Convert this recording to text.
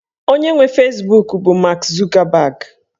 Onye nwe Fezbuk bụ Mak Zugabag